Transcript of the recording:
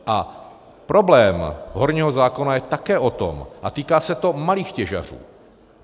A problém horního zákona je také o tom a týká se to malých těžařů.